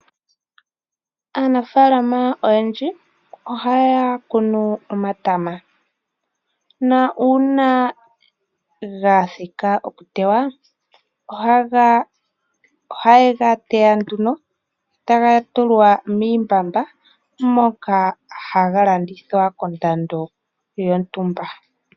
Aanafaalama oyendji ohaya kunu omatama. Na uuna ga thika okutewa, ohaye ga teya nduno, taga tulwa miimbamba, moka haga landithwa kondando yontumba.